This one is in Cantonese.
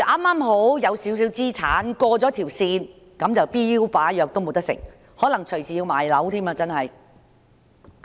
假如有少許資產，剛好超過上限，那便連標靶藥也不能服食，可能隨時要賣樓治癌。